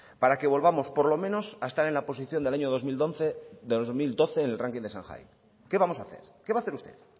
para que volvamos por lo menos a estar en la posición del año dos mil doce del ranking de shanghai qué vamos a hacer qué va a hacer usted